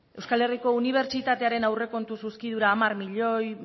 euskal herriko unibertsitatearen aurrekontu zuzkidura hamar milioi